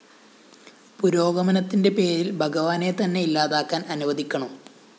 പുരോഗമനത്തിന്റെ പേരില്‍ ഭഗവാനെ തന്നെ ഇല്ലാതാക്കാന്‍ അനുവദിക്കണോ?